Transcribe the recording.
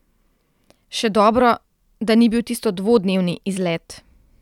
Še dobro, da ni bil tisto dvodnevni izlet.